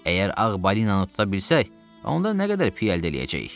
Əgər ağ balinanı tuta bilsək, onda nə qədər piy əldə eləyəcəyik?